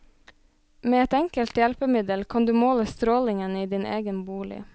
Med et enkelt hjelpemiddel kan du måle strålingen i din egen bolig.